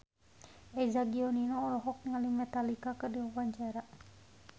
Eza Gionino olohok ningali Metallica keur diwawancara